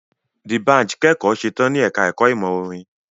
Dbanj kẹ́kọ̀ọ́ setán ní ẹka ẹ̀kọ́ ìmọ̀ orin.